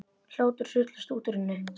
Hlátur sullast út úr henni.